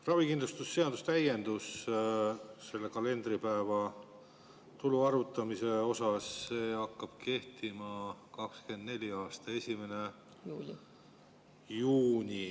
Ravikindlustuse seaduse täiendus selle kalendripäeva tulu arvutamise kohta hakkab kehtima 2024. aasta 1. juunil.